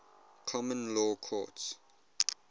common law courts